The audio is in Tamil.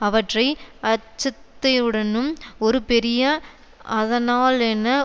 அவற்றை அச்சத்தையுடனும் ஒரு பெரிய அதனாலென